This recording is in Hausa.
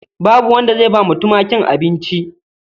Babu wanda zai bawa tumakin abincin.